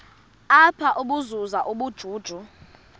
apha ukuzuza ubujuju